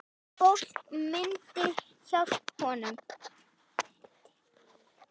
Fólk myndi hjálpa honum.